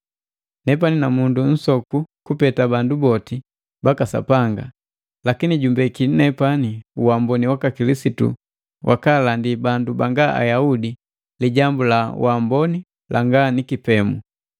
Nepani namundu nu nsoku kupeta bandu boti baka Sapanga. Lakini jumbeki nepani uamboni waka Kilisitu wakaalandi bandu banga Ayaudi Lijambu la Amboni langa ni kipemu,